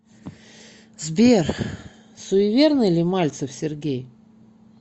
сбер суеверный ли мальцев сергей